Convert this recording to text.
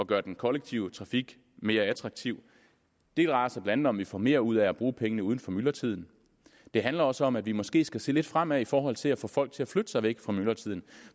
gøre den kollektive trafik mere attraktiv det drejer sig blandt om vi får mere ud af at bruge pengene uden for myldretiden det handler også om at vi måske skal se lidt fremad i forhold til at få folk til at flytte sig væk fra myldretiden